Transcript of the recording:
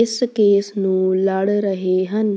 ਇਸ ਕੇਸ ਨੂੰ ਲੜ ਰਹੇ ਹਨ